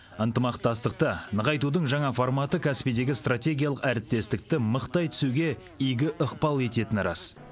ынтымақтастықты нығайтудың жаңа форматы каспийдегі стратегиялық әріптестікті мықтай түсуге игі ықпал ететіні рас